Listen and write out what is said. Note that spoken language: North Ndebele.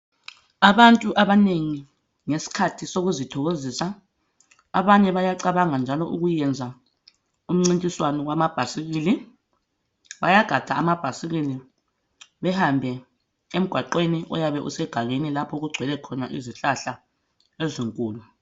Abantu abanengi ngesikhathi sokuzithokozisa abanye bayacabanga njalo ukwenza umncintiswane wamabhayisikili ,bayagada amabhayisikili behambe emgwaqeni oyabe usegangeni lapho okugcwele khona izihlahla ezinkulu.